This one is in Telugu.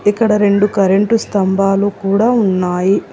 ఇక్కడ రెండు కరెంటు స్తంభాలు కూడా ఉన్నాయి.